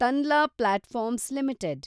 Tanla platforms limited